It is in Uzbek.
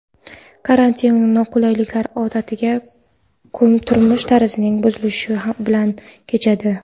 Karantin noqulayliklar, odatdagi turmush tarzining buzilishi bilan kechadi.